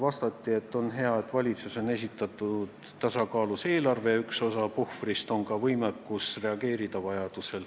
Vastati, et on hea, et valitsus on esitanud tasakaalus eelarve, ja üks osa puhvrist on ka võimekus vajadusel reageerida.